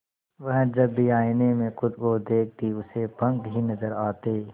वह जब भी आईने में खुद को देखती उसे पंख ही नजर आते